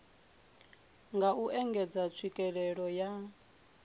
nga u engedza tswikelelo ya